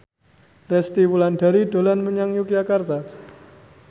Resty Wulandari dolan menyang Yogyakarta